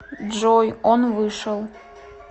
джой он вышел